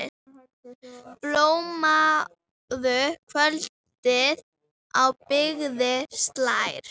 Blámóðu kvöldið á byggðir slær.